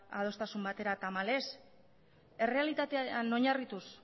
adostasun batera tamalez errealitatean oinarrituz